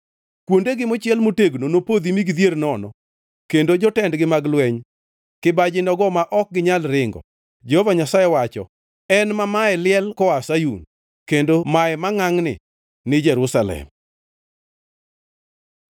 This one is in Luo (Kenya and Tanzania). Kuondegi mochiel motegno nopodhi mi gidhier nono, kendo jotendgi mag lweny, kibaji nogo ma ok ginyal ringo,” Jehova Nyasaye wacho, en ma maye liel koa Sayun, kendo maye mangʼangʼni ni Jerusalem.